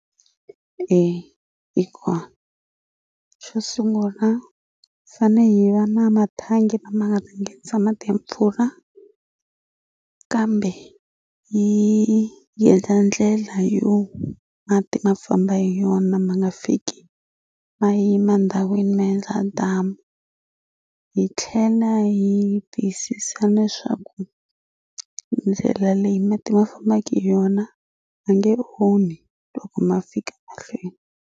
hikuva xo sungula fane hi va na mathangi lama nga nghenisa mati ya mpfula kambe yi yi heta ndlela yo mati ma famba hi yona ma nga fiki ma yima ndhawini ma endla damu yi tlhela yi tiyisisa leswaku ndlela leyi mati ma fambaka hi yona a nge onhi loko ma fika mahlweni.